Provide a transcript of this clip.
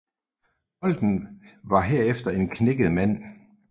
Bolten var herefter en knækket mand